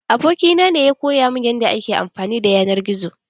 Abokina ne ya koya min yanda ake amfani da yanar gizo.